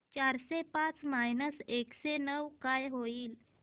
चारशे पाच मायनस एकशे नऊ काय होईल